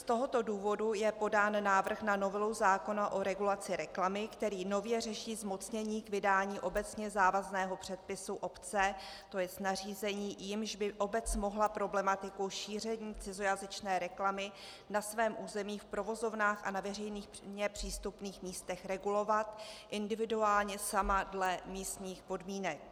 Z tohoto důvodu je podán návrh na novelu zákona o regulaci reklamy, který nově řeší zmocnění k vydání obecně závazného předpisu obce, to jest nařízení, jímž by obec mohla problematiku šíření cizojazyčné reklamy na svém území v provozovnách a na veřejně přístupných místech regulovat individuálně sama dle místních podmínek.